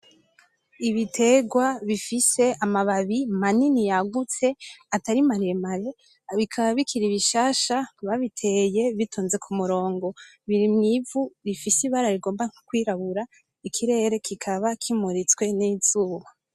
Ibitegwa bifise amababi manini yagutse atari maremare, bikaba bikiri bishasha babiteye bitonze ku murongo, biri mw'ivu rifise ibara rigomba nko kwirabura, ikirere kikaba kimuritswe n'izuba.